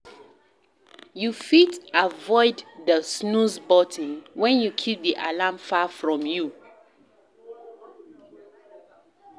You fit avoid di snooze button when you keep di alarm far from where you sleep